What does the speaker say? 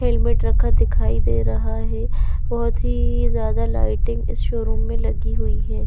Helmet रखा दिखाई दे रहा है बहोत ही ज्यादा लाइटिंग इस शोरूम में लगी हुई है।